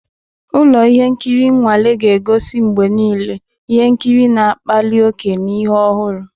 Ụlọ ihe nkiri nnwale ga-egosi mgbe niile ihe nkiri na-akpali ókè na ihe ọhụrụ.